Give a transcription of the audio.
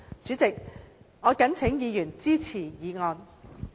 主席，我謹請議員支持議案。